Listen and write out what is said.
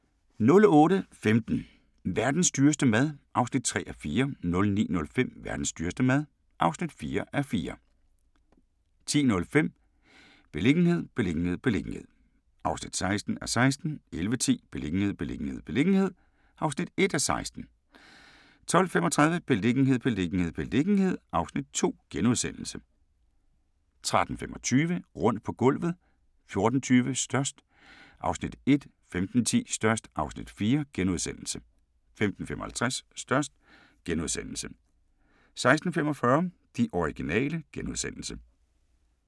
08:15: Verdens dyreste mad (3:4) 09:05: Verdens dyreste mad (4:4) 10:05: Beliggenhed, beliggenhed, beliggenhed (16:16) 11:10: Beliggenhed, beliggenhed, beliggenhed (1:16) 12:35: Beliggenhed, beliggenhed, beliggenhed (Afs. 2)* 13:25: Rundt på gulvet 14:20: Størst (Afs. 1) 15:10: Størst (Afs. 4)* 15:55: Størst * 16:45: De originale *